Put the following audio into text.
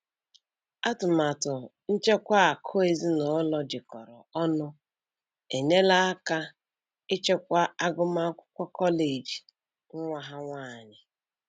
Atụmatụ nchekwa akụ ezinụlọ jikọrọ ọnụ enyela aka ịchịkwa agụmakwụkwọ kọleji nwa ha nwanyị.